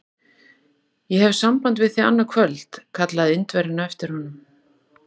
Ég hef samband við þig annað kvöld! kallaði Indverjinn á eftir honum.